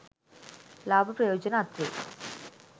ලාභ ප්‍රයෝජන අත්වෙයි.